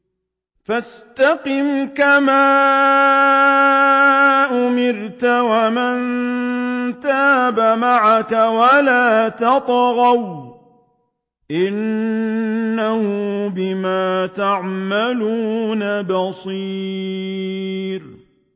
فَاسْتَقِمْ كَمَا أُمِرْتَ وَمَن تَابَ مَعَكَ وَلَا تَطْغَوْا ۚ إِنَّهُ بِمَا تَعْمَلُونَ بَصِيرٌ